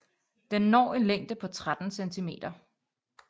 Den når en længde på 13 cm